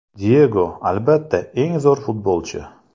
Diyego, albatta, eng zo‘r futbolchi!